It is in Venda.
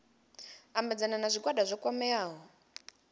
ambedzana na zwigwada zwo kwameaho